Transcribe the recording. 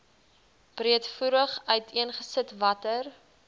breedvoerig uiteengesit watter